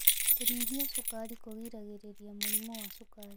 Kũnyihia cukari kũgiragĩrĩria mũrimũ wa cukari